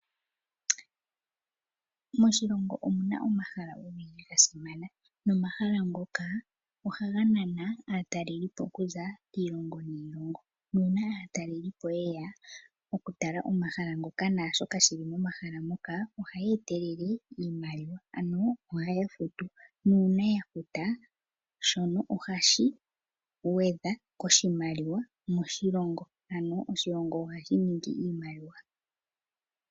Moshilongo omuna omahala ogendji ga simana. Nomahala ngoka ohaga nana aatalelipo okuza kiilongo niilongo. Nuuna aatalelipo yeya okutala omahala ngoka naashoka shili momahala moka ohaya etelele iimaliwa ano ohaya futu. Nuuna ya futa shono ohashi gwedha koshimaliwa moshilongo. Ano oshilongo ohashi ningi iimaliwa.